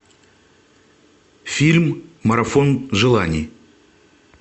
фильм марафон желаний